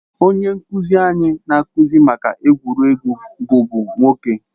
Onye nkuzi anyị na-akụzi maka egwuregwu bụbu nwoke.